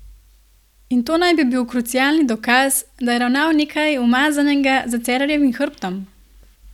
In to naj bi bil krucialni dokaz, da je ravnal nekaj umazanega za Cerarjevim hrbtom?